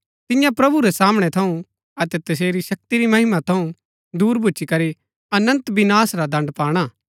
तियां प्रभु रै सामणै थऊँ अतै तसेरी शक्ति री महिमा थऊँ दूर भुच्‍ची करी अनन्त विनाश रा दण्ड पाणा